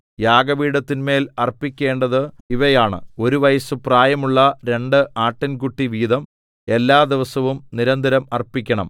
യാഗപീഠത്തിന്മേൽ അർപ്പിക്കേണ്ടത് ഇവയാണ് ഒരു വയസ്സു പ്രായമുള്ള രണ്ട് ആട്ടിൻകുട്ടി വീതം എല്ലാ ദിവസവും നിരന്തരം അർപ്പിക്കണം